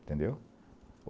Entendeu?